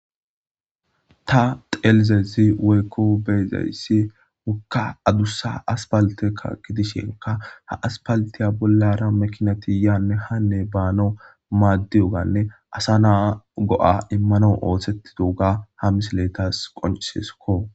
ta xelizezi woykko beezayssi mukka adussa aspalteka gidishenka ha aspaltiya bollara makinati yaanne hanne baano maaddiyoganne asa naa go7a immano oohsetti duuga ha misiletas qonciseskko